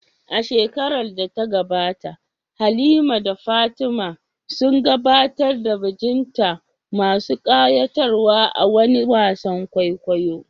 A shekarar da ta gabata, Halima da Fatima sun gabatar da bajinta masu ƙayatarwa a wani wasan kwaikwayo.